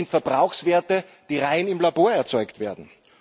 Das sind Verbrauchswerte, die rein im Labor erzeugt werden.